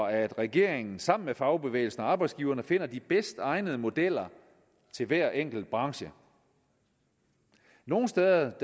at regeringen sammen med fagbevægelsen og arbejdsgiverne finder de bedst egnede modeller til hver enkelt branche nogle steder